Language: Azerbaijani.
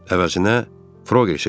Əvəzində Frogera gedirdi.